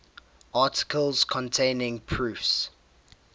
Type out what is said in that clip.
articles containing proofs